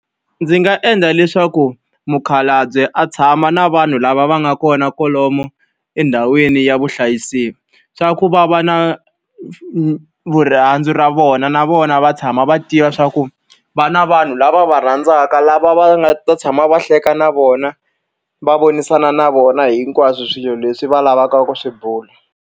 Ndzi nga endla leswaku mukhalabye a tshama na vanhu lava va nga kona kwalomu endhawini ya vuhlayiseki, leswaku va va na rirhandzu ra vona vona na vona va tshama va tiva leswaku va na vanhu lava va rhandzaka lava va nga ta tshama va hleka na vona. Va vonisana na vona hinkwaswo swilo leswi va lavaka ku swi bula.